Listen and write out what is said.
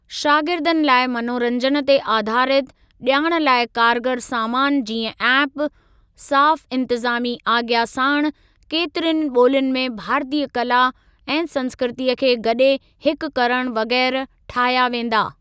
शागिर्दनि लाइ मनोरंजन ते आधारित ॼाण लाइ कारगर सामान जीअं ऐप, साफ़ इंतज़ामी आज्ञा साणु केतिरियुनि ॿोलियुनि में भारतीय कला ऐं संस्कृतीअ खे गॾे हिकु करणु वग़ैरह ठाहिया वेंदा।